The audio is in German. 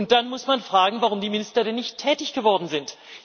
Und dann muss man fragen, warum die Minister denn nicht tätig geworden sind.